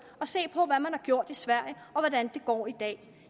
og se på hvad man har gjort i sverige og hvordan det går i dag